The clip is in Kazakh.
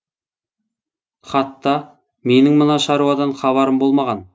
хатта менің мына шаруадан хабарым болмаған